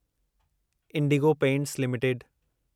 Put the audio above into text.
Indigo Paints limited